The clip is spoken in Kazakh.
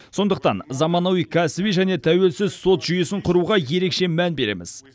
сондықтан заманауи кәсіби және тәуелсіз сот жүйесін құруға ерекше мән береміз